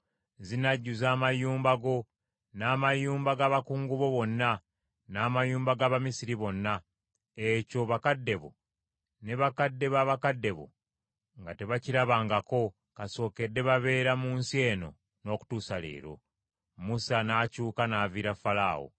Zinajjuza amayumba go, n’amayumba g’abakungu bo bonna, n’amayumba g’Abamisiri bonna; ekyo bakadde bo, ne bakadde ba bakadde bo nga tebakirabangako kasookedde babeera mu nsi eno n’okutuusa leero.’ ” Musa n’akyuka n’aviira Falaawo.